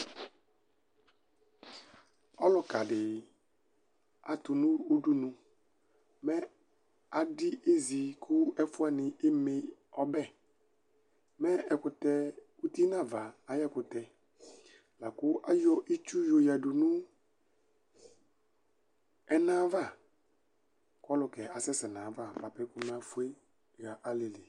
Ɔlʋkadi atʋnʋ ʋdʋnʋ mɛ adi ezi kʋ ɛfʋwani emeɔbɛ, mɛ ɛkʋtɛ ʋti nʋ ava ayʋ ɛkʋtɛ, lakʋ ayɔ itsu yoyadʋnʋ ɛna ayʋ ava kʋ ɔlʋkɛ asɛsɛ nʋ ayʋ ava bʋapɛ kʋ emefʋe xa alili